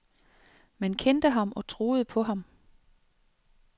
Man kendte ham og troede på ham.